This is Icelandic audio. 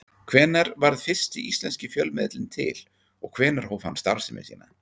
Hvenær varð fyrsti íslenski fjölmiðillinn til og hvenær hóf hann starfsemi sína?